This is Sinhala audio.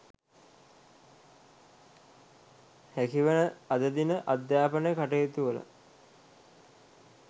හැකිවන අද දින අධ්‍යාපන කටයුතුවල